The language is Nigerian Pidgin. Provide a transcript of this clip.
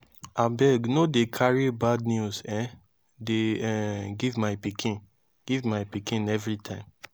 abeg no dey carry bad news um dey um give my pikin give my pikin everytime